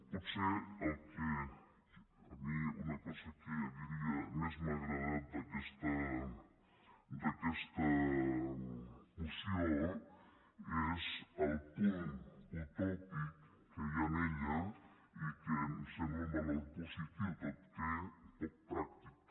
potser el que a mi una cosa que diria més m’ha agradat d’aquesta moció és el punt utòpic que hi ha en ella i que em sembla un valor positiu tot i que poc pràctic